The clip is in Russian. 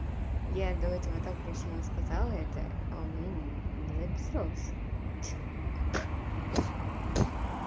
я до этого так красиво сказала это у меня не записалось